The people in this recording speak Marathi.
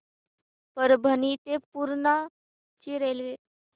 परभणी ते पूर्णा ची रेल्वे